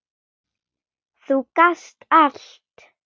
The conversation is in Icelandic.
Þú gast allt!